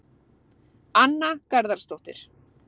Anna Garðarsdóttir